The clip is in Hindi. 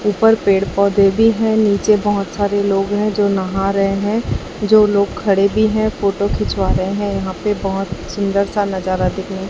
ऊपर पेड़ पौधे भी हैं नीचे बहोत सारे लोग हैं जो नहा रहे हैं जो लोग खड़े भी हैं फोटो खिंचवा रहे हैं यहां पे बहोत सुंदर सा नजारा देखने--